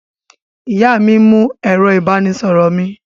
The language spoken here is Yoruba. Ìyá mi mú ẹ̀rọ-ìbánisọ̀rọ̀ mi.